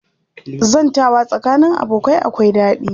Zantawa tsakanin abokai akwai daɗi